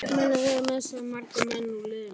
Munið þið missa marga menn úr liðinu?